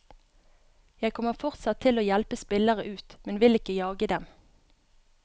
Jeg kommer fortsatt til å hjelpe spillere ut, men vil ikke jage dem.